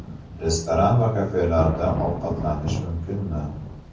Restoran va kafelarda ovqatlanish mumkinmi?